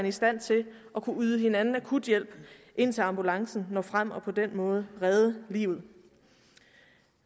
i stand til at kunne yde hinanden akuthjælp indtil ambulancen når frem og på den måde redde liv